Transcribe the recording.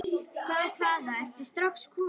Hvaða, hvaða, ertu strax kominn?